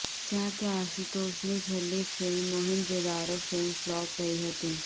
જા કે આશુતોષની છેલ્લી film Mohenjo Daro film flop રહી હતી